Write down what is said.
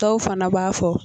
Dɔw fana b'a fɔ